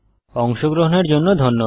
অংশগ্রহনের জন্য ধন্যবাদ